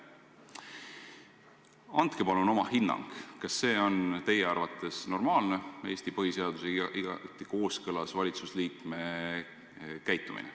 Andke palun oma hinnang, kas see on teie arvates normaalne ja Eesti põhiseadusega igati kooskõlas ministri käitumine.